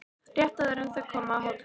Rétt áður en þau koma að hóteli